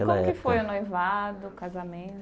época E como que foi o noivado, o